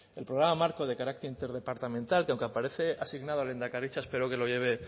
el programa marco de carácter interdepartamental que aunque aparece asignado a lehendakaritza espero que lo lleve